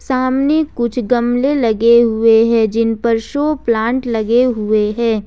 सामने कुछ गमले लगे हुए हैं जिन पर शो प्लांट लगे हुए हैं।